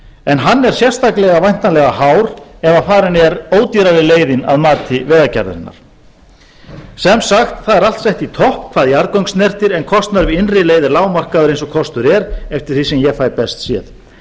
en hann er sérstaklega væntanlega hár ef farin er ódýrari leiðin að mati vegagerðarinnar sem sagt það er allt sett í topp hvað jarðgöng snertir en kostnaður við innri leið er lágmarkaður eins og kostur er eftir því sem ég fæ best séð